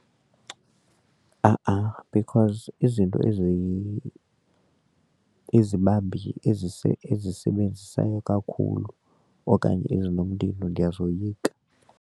A-a because izinto ezibambi ezisebenzayo kakhulu okanye ezinomlilo ndiyazoyika.